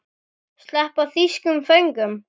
Sleppa þýskum föngum?